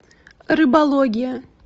рыбология